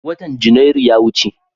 Watan Janairu ya wuce.